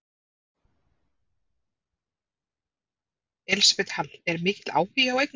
Elísabet Hall: Er mikill áhugi á eigninni?